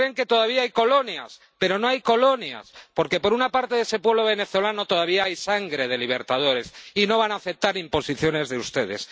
Se creen que todavía hay colonias, pero no hay colonias, porque por una parte de ese pueblo venezolano todavía hay sangre de libertadores y no van a aceptar imposiciones de ustedes.